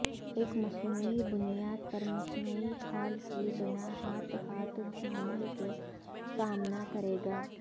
ایک مصنوعی بنیاد پر مصنوعی کھال کی بنا ہاتھ ہاتھ دھونے کا سامنا کرے گا